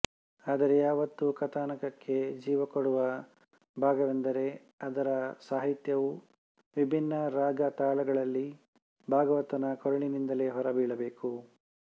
ಆದರೆ ಯಾವತ್ತೂ ಕಥಾನಕಕ್ಕೆ ಜೀವ ಕೊಡುವ ಭಾಗವೆಂದರೆ ಅದರ ಸಾಹಿತ್ಯವು ವಿಭಿನ್ನ ರಾಗ ತಾಳಗಳಲ್ಲಿ ಭಾಗವತನ ಕೊರಳಿನಿಂದಲೇ ಹೊರ ಬೀಳಬೇಕು